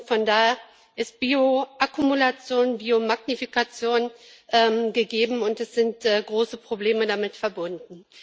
Von daher ist Bioakkumulation, Biomagnifikation gegeben, und es sind große Probleme damit verbunden.